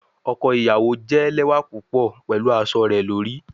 Ọkọ iyawo jẹ lẹwa pupọ pẹlu aṣọ rẹ lori